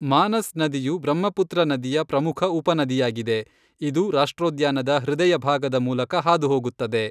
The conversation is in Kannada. ಮಾನಸ್ ನದಿಯು ಬ್ರಹ್ಮಪುತ್ರ ನದಿಯ ಪ್ರಮುಖ ಉಪನದಿಯಾಗಿದೆ, ಇದು ರಾಷ್ಟ್ರೋದ್ಯಾನದ ಹೃದಯಭಾಗದ ಮೂಲಕ ಹಾದುಹೋಗುತ್ತದೆ.